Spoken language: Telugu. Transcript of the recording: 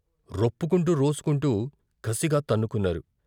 రొప్పుకుంటూ రోసుకుంటూ కసిగా తన్నుకున్నారు.